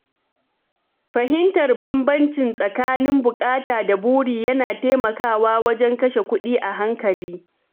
Fahimtar bambancin tsakanin buƙata da buri yana taimakawa wajen kashe kuɗi a hankali.